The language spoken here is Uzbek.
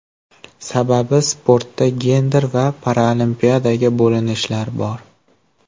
Sababi sportda gender va paraolimpiadaga bo‘linishlar bor.